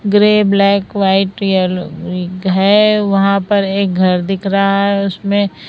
grey black white yellow है वहां पर एक घर दिख रहा है उसमें--